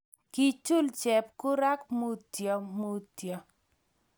Kichuul chepkurak Mutyo mutyo